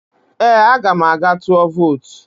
Ee, aga m aga tụọ vootu